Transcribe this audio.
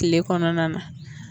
Tile kɔnɔna na